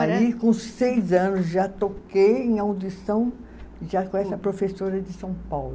Aí, com seis anos, já toquei em audição já com essa professora de São Paulo.